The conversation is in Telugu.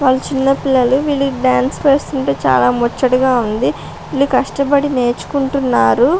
వాళ్ళు చిన్న పిల్లలు వీళ్ళు డాన్స్ వేస్తుంటే చాలా ముచ్చటగా ఉంది వీళ్ళు కష్టపడి నేర్చుకుంటున్నారు.